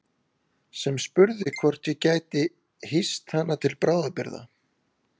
Sem spurði hvort ég gæti hýst hana til bráðabirgða.